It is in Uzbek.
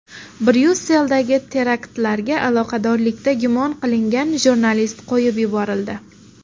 Bryusseldagi teraktlarga aloqadorlikda gumon qilingan jurnalist qo‘yib yuborildi.